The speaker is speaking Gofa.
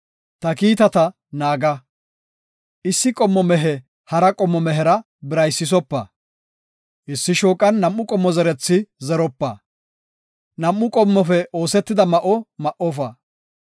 “Ta kiitata naaga. “Issi qommo mehe hara qommo mehera biraysisopa. “Issi shooqan nam7u qommo zerethi zeropa. “Nam7u qommofe oosetida ma7o ma7ofa.